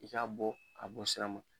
I k’a bɔ a bɔ sira ma.